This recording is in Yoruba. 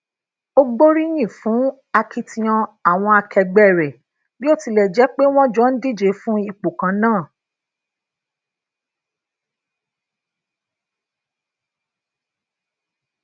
o gboriyin fun akitiyan awọn akẹgbẹ rẹ bi o tilẹ jẹ pe wọn jo n dije fun ipo kan naa